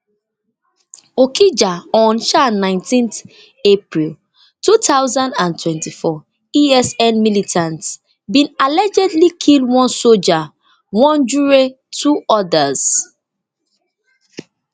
okija on um nineteen april two thousand and twenty-four esn militants bin allegedly kill one soldier wunjure two odas